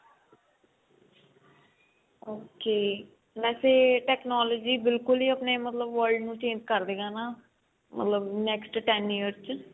okay ਵੇਸੇ technology ਬਿਲਕੁਲ ਹੀ ਆਪਣੇ ਮਤਲਬ world ਨੂੰ change ਕਰਦੇਗਾ ਹਨਾ ਮਤਲਬ next ten year ਚ